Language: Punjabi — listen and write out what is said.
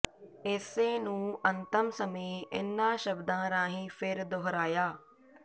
ਇਸੇ ਨੁੰ ਅੰਤਮ ਸਮੇ ਇਨਾ ਸ਼ਬਦਾ ਰਾਹੀ ਫਿਰ ਦੁਹਰਾਇਆ